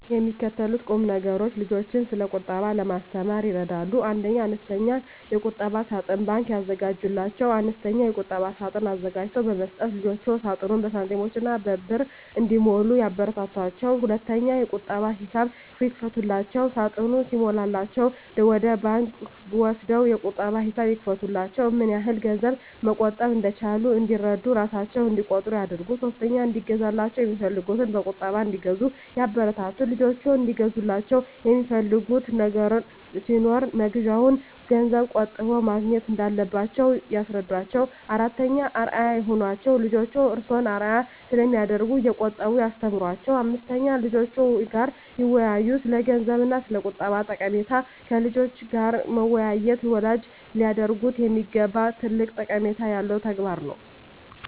የሚከተሉት ቁምነገሮች ልጆችን ስለቁጠባ ለማስተማር ይረዳሉ 1. አነስተኛ የቁጠባ ሳጥን (ባንክ) ያዘጋጁላቸው፦ አነስተኛ የቁጠባ ሳጥን አዘጋጅቶ በመስጠት ልጆችዎ ሳጥኑን በሳንቲሞችና በብር እንዲሞሉ ያበረታቷቸው። 2. የቁጠባ ሂሳብ ይክፈቱላቸው፦ ሳጥኑ ሲሞላላቸው ወደ ባንክ ወስደው የቁጠባ ሂሳብ ይክፈቱላቸው። ምንያህል ገንዘብ መቆጠብ እንደቻሉ እንዲረዱ እራሣቸው እቆጥሩ ያድርጉ። 3. እንዲገዛላቸው የሚፈልጉትን በቁጠባ እንዲገዙ ያበረታቱ፦ ልጆችዎ እንዲገዙላቸው የሚፈልጉት ነገር ሲኖር መግዣውን ገንዘብ ቆጥበው ማግኘት እንዳለባቸው ያስረዷቸው። 4. አርአያ ይሁኗቸው፦ ልጆችዎ እርስዎን አርአያ ስለሚያደርጉ እየቆጠቡ ያስተምሯቸው። 5. ከልጆችዎ ጋር ይወያዩ፦ ስለገንዘብ እና ስለቁጠባ ጠቀሜታ ከልጆች ጋር መወያየት ወላጆች ሊያደርጉት የሚገባ ትልቅ ጠቀሜታ ያለው ተግባር ነው።